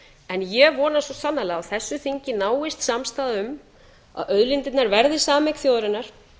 en ég vona svo sannarlega að á þessu þingi náist samstaða um að auðlindirnar verði sameign þjóðarinnar